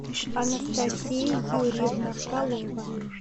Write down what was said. анастасия юрьевна фролова